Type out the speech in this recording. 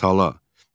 Tala